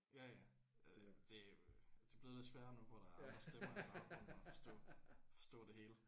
Ja ja det er jo det er blevet lidt sværere nu hvor der er stemmer i baggrunden at forstå forstå det hele